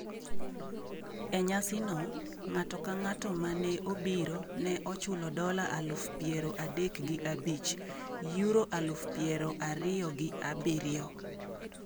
E nyasino, ng’ato ka ng’ato ma ne obiro ne chulo dola aluf piero adek gi abich (Euro aluf piero ariyo gi abiriyo).